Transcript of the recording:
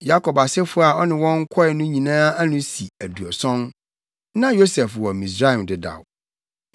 Yakob asefo a ɔne wɔn kɔe no nyinaa ano si aduɔson. Na Yosef wɔ Misraim dedaw.